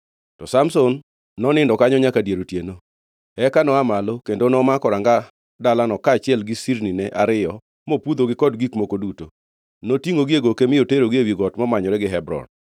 To Samson nonindo kanyo nyaka dier otieno. Eka no-aa malo kendo nomako ranga dalano kaachiel gi sirnine ariyo mopudhogi kod gik moko duto. Notingʼogi e goke mi oterogi ewi got momanyore gi Hebron.